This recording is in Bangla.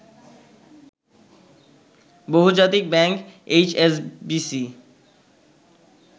বহুজাতিক ব্যাংক এইচএসবিসি